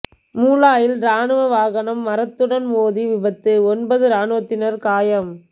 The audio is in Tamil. மூளாயில் இராணுவ வாகனம் மரத்துடன் மோதி விபத்து ஒன்பது இராணுவத்தினர் காயம்